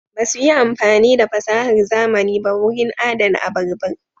Ba su yi amfani da fasahar zamani ba wurin adana abarbar.